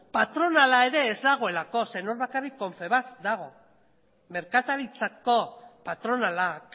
patronala ere ez dagoelako zeren hor bakarrik confebask dago merkataritzako patronalak